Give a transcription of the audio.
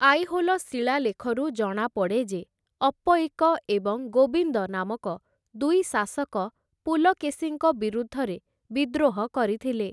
ଆଇହୋଲ ଶିଳାଲେଖରୁ ଜଣାପଡ଼େ ଯେ ଅପ୍ପୟିକ ଏବଂ ଗୋବିନ୍ଦ ନାମକ ଦୁଇ ଶାସକ ପୁଲକେଶୀଙ୍କ ବିରୁଦ୍ଧରେ ବିଦ୍ରୋହ କରିଥିଲେ ।